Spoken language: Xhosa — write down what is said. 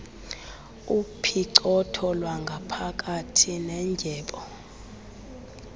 upicotho lwangaphakathi nendyebo